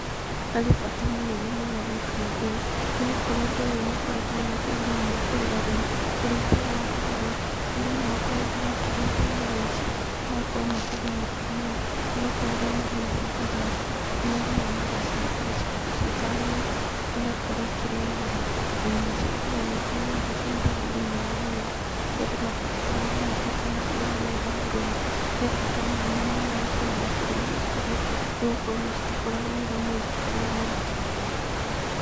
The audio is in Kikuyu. Harĩ bata mũnene mũno gwĩka ũndũ ũyũ, nĩgũkorwo ũndũ ũyũ nĩũkoretwo wĩna kĩguni mũno kũrĩ arĩmi. Ũrĩithia ũyũ wa ngũrwe, andũ nĩmakoretwo makĩrĩithia ngũrwe ici, magakorwo makĩgunĩka mũno, nĩgũkorwo rĩrĩa marĩithia ngũrwe ici, nĩmathiaga magaciendia ciĩta nyama, igakorwo ikĩrĩo nyama, na nyama cia ngũrwe nĩikoragwo igĩtaithia andũ thĩinĩ wa mwĩrĩ harĩa andũ makoretwo magunĩkĩte na ũrĩithia ũyũ wa ngũrwe. He bata mũnene mũno gũkorwo makĩrĩthia ngũrũwe, nĩgũkorwo ona citikoragwo wĩra mũingĩ kana mũritũ.